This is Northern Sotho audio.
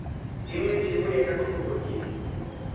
e ngwetšwego ya tlhahlobo ke